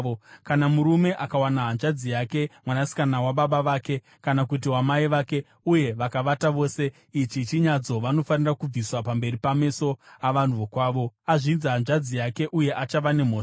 “ ‘Kana murume akawana hanzvadzi yake mwanasikana wababa vake, kana kuti wamai vake, uye vakavata vose, ichi chinyadziso. Vanofanira kubviswa pamberi pameso avanhu vokwavo. Azvidza hanzvadzi yake uye achava nemhosva.